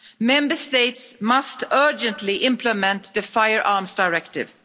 Member States must urgently implement the Firearms Directive.